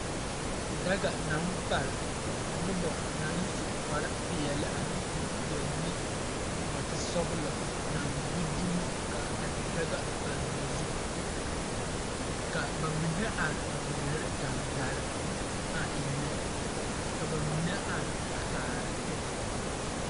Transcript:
Daga baŋ pare nobɔ naŋ su kparepeɛle ane kuripeɛle ne nɔɔte sɔglɔ naŋ gbi dumo ka a daga a paŋ pare ba zu ka ba mine are a ngmeɛrɛ gaŋgarre a eŋnɛ ka ba mine are a kaara.